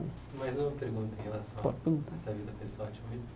Mais uma pergunta em relação a pode perguntar essa vida pessoal.